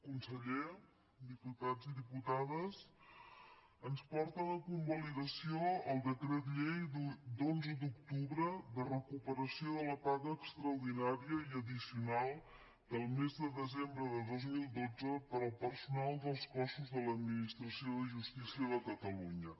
conseller diputats i diputades ens porten a convalidació el decret llei d’onze d’octubre de recuperació de la paga extraordinària i addicional del mes de desembre de dos mil dotze per al personal dels cossos de l’administració de justícia de catalunya